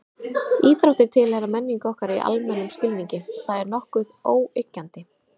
Íþróttir tilheyra menningu okkar í almennum skilningi, það er nokkuð óyggjandi.